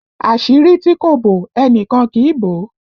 Àṣírí tí kò bò, ẹnìkan kì í bò ó!